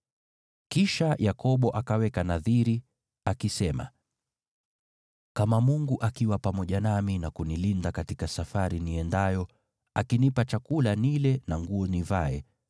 Kisha Yakobo akaweka nadhiri, akisema, “Kama Mungu akiwa pamoja nami na kunilinda katika safari niendayo, akinipa chakula nile na nguo nivae